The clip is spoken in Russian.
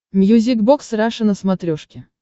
мьюзик бокс раша на смотрешке